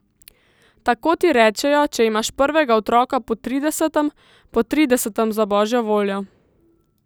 Tako ti rečejo, če imaš prvega otroka po tridesetem, po tridesetem, za božjo voljo!